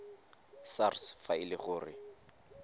sars fa e le gore